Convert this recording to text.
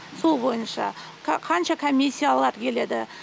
сол бойынша қанша комиссиялар келеді